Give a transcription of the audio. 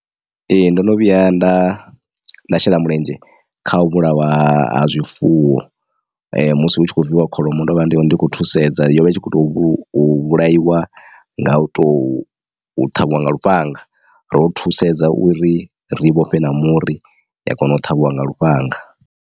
Ee ndono vhuya nda nda shela mulenzhe kha u vhulaiwa ha zwifuwo musi hu tshi kho viwa kholomo ndo vha ndi khou thusedza yo vha i tshi kho to vhulaiwa nga u to ṱhavhiwa nga lufhanga ndo thusedza uri rii vhofhe na muri ya kona u ṱhavhiwa nga lufhanga.